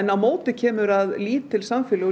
á móti kemur að lítil samfélög